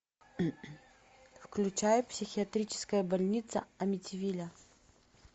включай психиатрическая больница амитивилля